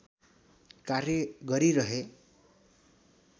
कार्य गरिरहे